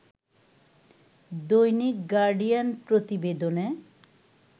দৈনিক গার্ডিয়ান প্রতিবেদনে